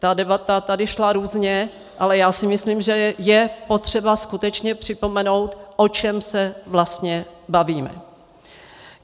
Ta debata tady šla různě, ale já si myslím, že je potřeba skutečně připomenout, o čem se vlastně bavíme.